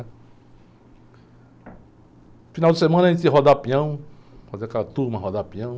No final de semana a gente ia rodar pião, fazia aquela turma, rodava pião.